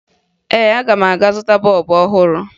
Ee, aga m aga zụta bọọbụ ọhụrụ